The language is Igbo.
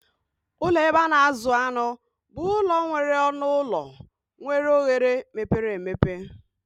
Ụlọ ebe a na-azụ anụ bụ ụlọ nwere ọnụ ụlọ nwere oghere mepere emepe.